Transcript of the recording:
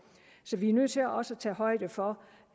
så vi er nødt til også at tage højde for